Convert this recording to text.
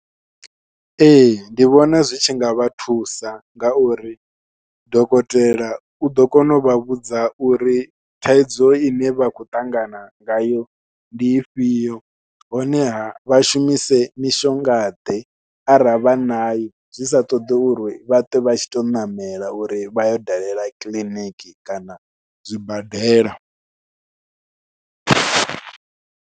Ee ndi vhona zwi tshinga vha thusa ngauri dokotela uḓo kona u vha vhudza uri thaidzo ine vha khou ṱangana ngayo ndi ifhio, honeha vha shumise mishonga ḓe arali vha nayo zwi sa ṱoḓi uri vha ṱwe vha tshi tou ṋamela uri vha yo dalela kiḽiniki kana zwibadela.